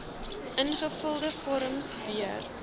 ingevulde vorms weer